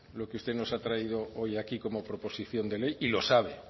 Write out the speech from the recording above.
lo que usted nos ha traído hoy aquí como proposición de ley y lo sabe